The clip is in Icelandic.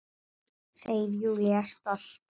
Segir Júlía stolt.